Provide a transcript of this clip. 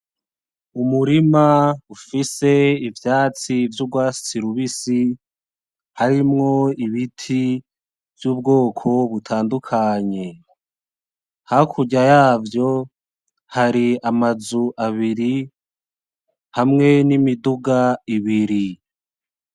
Umurima ufise ivyatsi vy'ugwatsi rubisi harimwo ibiti vy'ubwoko butandukanye, hakurya yavyo hari amazu abiri hamwe n'imiduga ibiri.